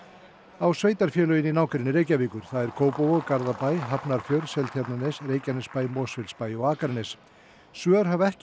á sveitarfélögin í nágrenni Reykjavíkur það er Kópavog Garðabæ Hafnarfjörð Seltjarnarnes Reykjanesbæ Mosfellsbæ og Akranes svör hafa ekki